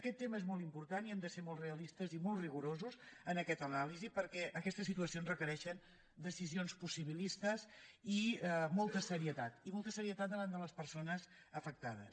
aquest tema és molt important i hem de ser molt realistes i molt rigorosos en aquesta anàlisi perquè aquestes situacions requereixen decisions possibilistes i molta serietat i molta serietat davant de les persones afectades